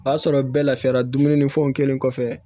O y'a sɔrɔ bɛɛ lafiyara dumunifɛnw kelen kɔfɛ